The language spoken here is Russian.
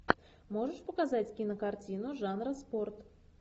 можешь показать кинокартину жанра спорт